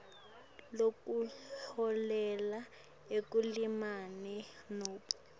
lokuholela ekulimaleni nobe